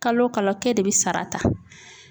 Kalo kalo k'e de bi sara ta.